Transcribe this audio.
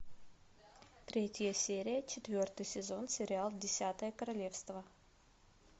третья серия четвертый сезон сериал десятое королевство